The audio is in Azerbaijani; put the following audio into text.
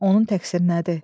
Onun təksiri nədir?